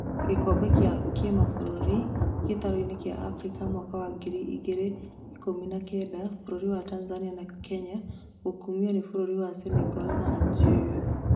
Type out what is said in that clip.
Gĩkombe gĩa kĩmabũrũri gĩtaro-inĩ kĩa Afrika mwaka wa ngiri igĩrĩ ikũmi na kenda, bũrũri wa Tanzania na Kenya gũkomio nĩ bũrũri wa Senagal na Algeria